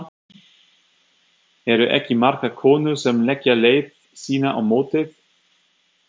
Eru ekki margar konur sem leggja leið sína á mótið?